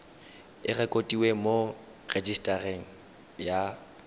e rekotiwe mo rejisetareng ya